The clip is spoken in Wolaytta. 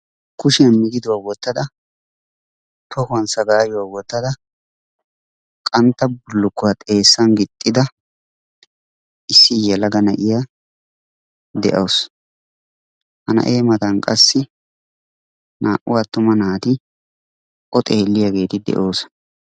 kushiyan migidduwa wotada tohuwan sagaayuwa wotada qantta bulukkuwwa xeesan gixxida issi yelaga na'iya de'awusu. ha na'ee matan qassi naa'u atuma naati o xeeliyageeti de'oosona.